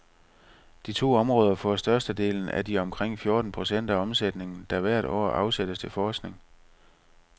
De to områder får størstedelen af de omkring fjorten procent af omsætningen, der hvert år afsættes til forskning.